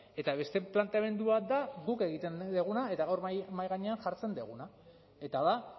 eta beste planteamendua da guk egiten duguna eta gaur mahai gainean jartzen duguna eta da